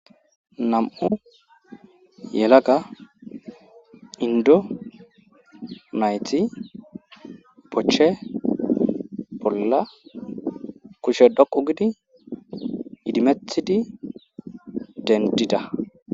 Nam'u yelaga indonayti bochche bolla kushe dhoqu gidi idimethidi dendida